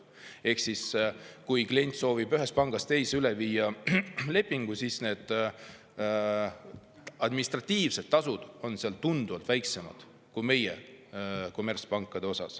Kui klient soovib lepingu ühest pangast teise üle viia, siis administratiivsed tasud on seal tunduvalt väiksemad kui meie kommertspankadel.